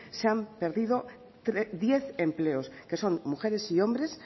se han perdido diez empleos que son mujeres y hombres